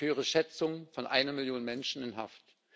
Ich höre Schätzungen von einer Millionen Menschen in Haft.